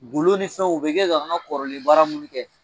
Golo ni fɛnw u bɛ kɛ ka an ka kɔrɔlen baara minnu kɛ.